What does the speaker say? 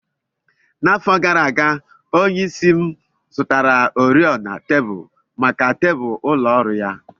N'afọ gara aga, onyeisi m zụtara oriọna tebụl maka tebụl ụlọ ọrụ ya.